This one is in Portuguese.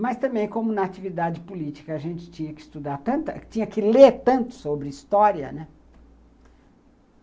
Mas também como na atividade política, a gente tinha que estudar tanto, tinha que ler tanto sobre história, né?